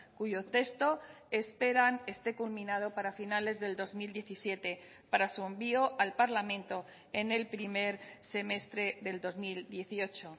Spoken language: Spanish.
cuyo texto esperan esté culminado para finales del dos mil diecisiete para su envío al parlamento en el primer semestre del dos mil dieciocho